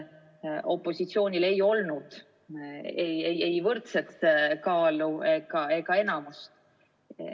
Tookord ei olnud opositsioonil ei võrdset kaalu ega enamust.